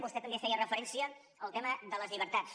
vostè també feia referència al tema de les llibertats